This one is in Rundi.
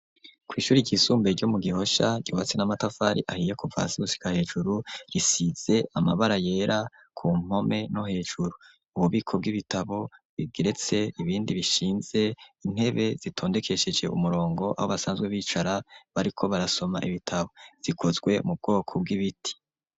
Kw'ishuri ry'isumbe ryo mu Gihosa ryubatse n'Amatafari ahiye kuva gushika hejuru, risize Amabara yera, ku mpome no hejuru. Ububiko bw'Ibitabo bigeretse ibindi bishinze, Intebe zitondekesheje umurongo ho basanzwe bicara, bariko barasoma ibitabo. Zikozwe mu bwoko bw'Ibiti.